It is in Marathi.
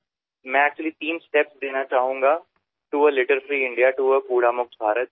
घाण मुक्त भारतासाठी कचरामुक्त भारतासाठी मी खरे तर तीन टप्पे सांगू इच्छितो